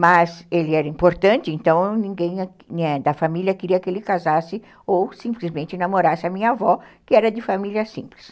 Mas ele era importante, então ninguém da família queria que ele casasse ou simplesmente namorasse a minha avó, que era de família simples.